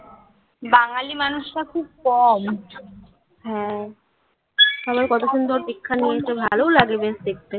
বাঙালি মানুষটা খুব কম হ্যাঁ সবাই কত সুন্দর দীক্ষা নিয়েছে. ভালো লাগে বেশ দেখতে.